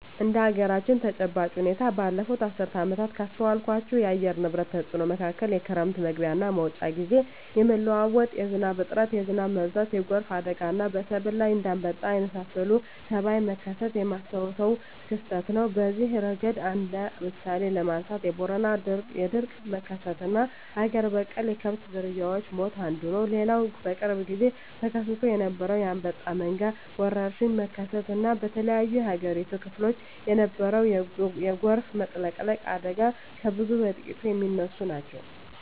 እንደ አገራችን ተጨባጭ ሁኔታ ባለፋት አስርት ዓመታት ካስተዋልኳቸው የአየር ንብረት ተጽኖ መካከል የክረም መግቢያና መውጫ ግዜ የመለዋወጥ፣ የዝናብ እጥረት፣ የዝናብ መብዛት፣ የጎርፍ አደጋና በሰብል ላይ እንደ አንበጣ የመሳሰለ ተባይ መከሰት የማስታውሰው ክስተት ነው። በዚህ እረገድ እንደ ምሳሌ ለማንሳት የቦረና የድርቅ መከሰትና አገር በቀል የከብት ዝርያወች ሞት አንዱ ነው። ሌላው በቅርብ ግዜ ተከስቶ የነበረው የአንበጣ መንጋ ወረርሽኝ መከሰት እና በተለያዮ የአገሪቱ ክፍሎች የነበረው የጎርፍ መጥለቅለቅ አደጋ ከብዙ በጥቂቱ ሚነሱ ናቸው።